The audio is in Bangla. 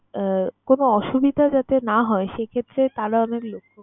আহ কোন অসুবিধা যাতে না হয় সেক্ষেত্রে তারা অনেক লক্ষ্য।